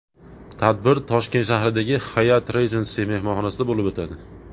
Tadbir Toshkent shahridagi Hyatt Regency mehmonxonasida bo‘lib o‘tadi.